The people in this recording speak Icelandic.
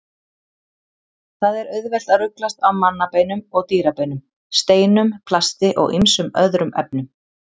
Það er auðvelt að ruglast á mannabeinum og dýrabeinum, steinum, plasti og ýmsum öðrum efnum.